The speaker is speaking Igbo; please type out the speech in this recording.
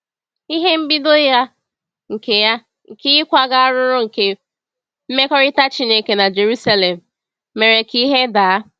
Ihe mbido ya nke ya nke ịkwaga arụrụ nke mmekọrịta Chineke na Jerusalem mere ka ihe daa.